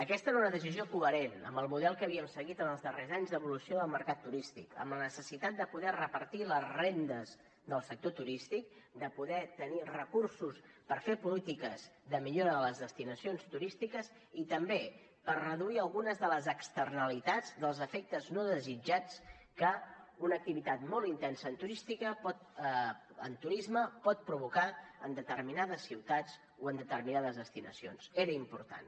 aquesta era una decisió coherent amb el model que havíem seguit en els darrers anys d’evolució del mercat turístic amb la necessitat de poder repartir les rendes del sector turístic de poder tenir recursos per fer polítiques de millora de les destinacions turístiques i també per reduir algunes de les externalitats dels efectes no desitjats que una activitat molt intensa en turisme pot provocar en determinades ciutats o en determinades destinacions era important